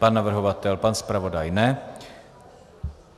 Pan navrhovatel, pan zpravodaj?